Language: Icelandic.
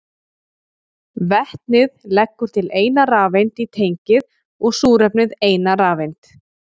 Vetnið leggur til eina rafeind í tengið og súrefnið eina rafeind.